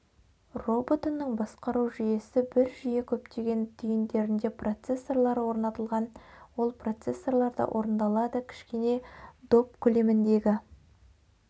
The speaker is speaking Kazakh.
роботының басқару жүйесі бір жүйе көптеген түйіндерінде процессорлары орнатылған ол процессорларда орындалады кішкене доп көлеміндегі